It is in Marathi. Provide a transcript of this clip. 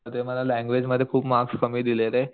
ते मला लँगवेज मध्ये खूप मार्क्स कमी दिले रे